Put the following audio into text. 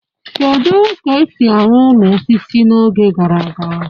Kedu ka esi arụ ụlọ osisi n'oge gara aga?